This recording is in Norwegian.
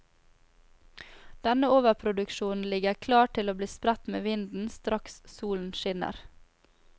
Denne overproduksjonen ligger klar til å bli spredt med vinden straks solen skinner.